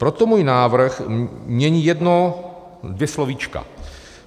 Proto můj návrh mění jedno dvě slovíčka.